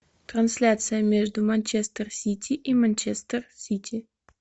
трансляция между манчестер сити и манчестер сити